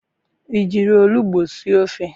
I jiri olugbu sie ofe?